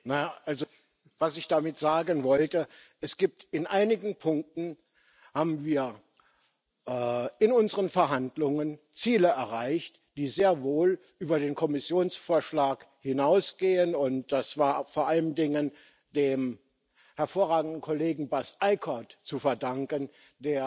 Was ich damit sagen wollte In einigen Punkten haben wir in unseren Verhandlungen Ziele erreicht, die sehr wohl über den Kommissionsvorschlag hinausgehen, und das war vor allen Dingen dem hervorragenden Kollegen Bas Eickhout zu verdanken, der mit